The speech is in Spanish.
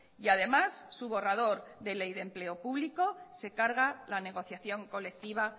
y además su borrador de ley de empleo público se carga la negociación colectiva